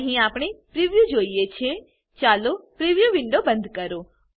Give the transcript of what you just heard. અહી આપણે પ્રિવ્યુ જોઈ શકીએ છે ચાલો પ્રિવ્યુ વિન્ડો બંધ કરો